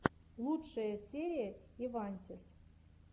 лучшая серия ивантез